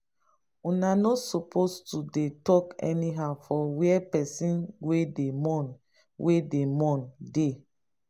una no suppose to dey talk anyhow for where pesin wey dey mourn wey dey mourn dey.